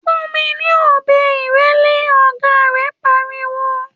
‘Fún mi ní ò̩be̩ ìré̩lé!’, ògá rè̩ pariwo